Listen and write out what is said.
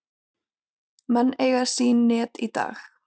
Menn eiga sín net í dag.